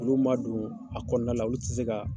Olu ma don a kɔnɔna la olu tɛ se ka.